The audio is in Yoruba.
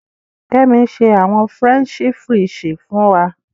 Kẹmí n ṣè àwọn Frẹnṣì fríṣì fún wà.